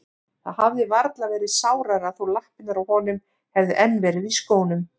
Það hefði varla verið sárara þó lappirnar á honum hefðu enn verið í skónum.